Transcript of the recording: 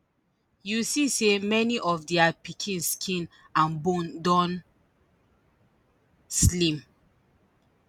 you see say many of dia pikin skin and bone don slim